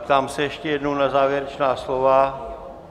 Ptám se ještě jednou na závěrečná slova.